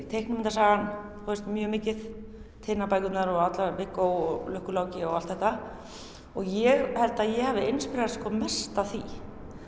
teiknimyndasagan mjög mikið Tinnabækurnar og Viggó lukku Láki og allt þetta og ég held að ég hafi mest af því